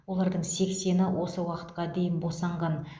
олардың сексені осы уақытқа дейін босанған